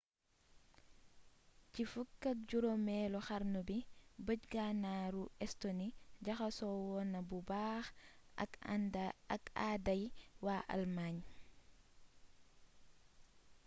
ci 15eelu xarnu bi bëj gànnaaru estonie jaxasoo woon na bu baax ak aaday waa allemagne